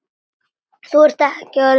Þú ert ekki orðinn sextán!